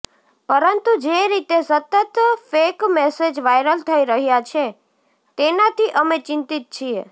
પરંતુ જે રીતે સતત ફેક મેસેજ વાયરલ થઈ રહ્યા છે તેનાથી અમે ચિંતિત છીએ